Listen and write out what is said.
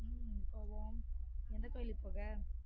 உம் போவொம் எந்த கோவிலுக்கு போக